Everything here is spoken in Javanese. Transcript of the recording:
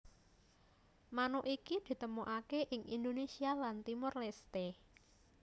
Manuk iki ditemokake ing Indonesia lan Timor Leste